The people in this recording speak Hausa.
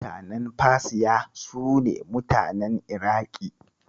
Mutanen Fasiya, su ne mutanen Iraƙi.